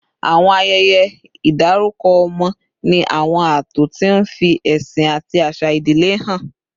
Àwọn ayẹyẹ ìdárúkọ ọmọ ní àwọn ààtò tí ń fi ẹ̀sìn àti àṣà ìdílé hàn